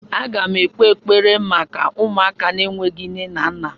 Agam ekpe ekpere maka ụmụaka enweghị nne na nna!